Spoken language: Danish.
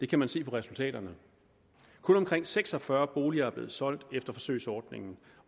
kan man se på resultaterne kun omkring seks og fyrre boliger er blevet solgt efter forsøgsordningen